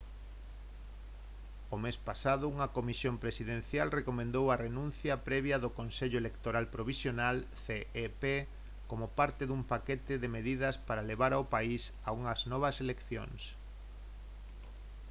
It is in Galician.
o mes pasado unha comisión presidencial recomendou a renuncia previa de consello electoral provisional cep como parte dun paquete de medidas para levar ao país a unhas novas eleccións